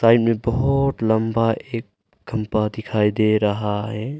Side में बहुत लंबा एक खंभा दिखाई दे रहा है।